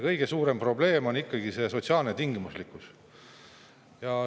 Kõige suurem probleem on ikkagi see sotsiaalne tingimuslikkus.